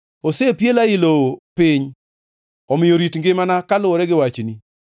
Osepiela ei lowo piny; omiyo rit ngimana kaluwore gi wachni.